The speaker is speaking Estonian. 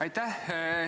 Aitäh!